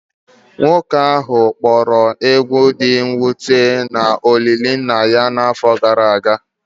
Nwoke ahụ kpọrọ egwu dị mwute na olili nna n'afọ gara aga